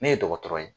Ne ye dɔgɔtɔrɔ ye